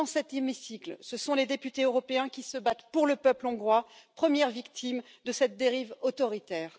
Dans cet hémicycle, ce sont les députés européens qui se battent pour le peuple hongrois, première victime de cette dérive autoritaire.